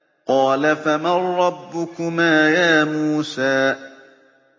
قَالَ فَمَن رَّبُّكُمَا يَا مُوسَىٰ